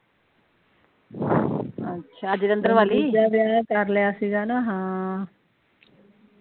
ਦੂਜਾ ਵਿਆਹ ਕਰ ਲੇਆ ਸੀਗਾ ਨਾ ਹਮ